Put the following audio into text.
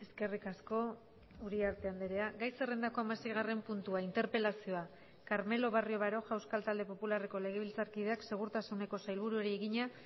eskerrik asko uriarte andrea gai zerrendako hamaseigarren puntua interpelazioa carmelo barrio baroja euskal talde popularreko legebiltzarkideak segurtasuneko sailburuari egina